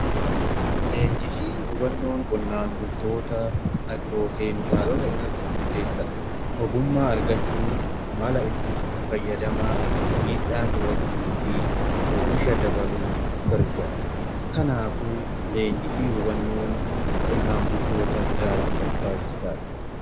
Leenjii fi hubannoon qonnaan bultoota agirookeemikaalota irratti murteessadha. ogummaa argachuu mala ittisa fayyadamaa . Oomisha dabaluuf gargaara. kanaafuu leenjifi hubannoon qonnaan bultootaaf daraan barbaachisaadha.